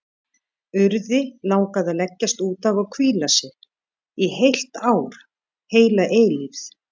Urði langaði að leggjast út af og hvíla sig, í heilt ár, heila eilífð.